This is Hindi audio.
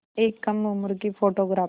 एक कम उम्र की फ़ोटोग्राफ़र